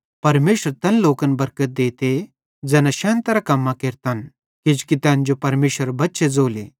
परमेशर तैन लोकन बरकत देते ज़ैना शैनतरां कम्मां केरतन किजोकि तैन जो परमेशरेरे बच्चे ज़ोले